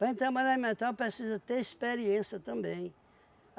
Para a gente trabalhar em metal precisa ter experiência também.